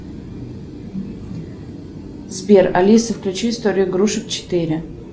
сбер алиса включи историю игрушек четыре